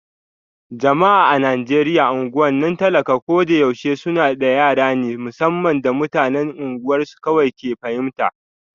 Jama'a a Najeriya unguwannin talak a ko da yaushe suna da yare na musamman da mutanen unguwarsu kawai ke fahimta